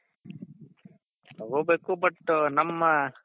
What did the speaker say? ತಗೋಬೇಕು but ನಮ್ಮ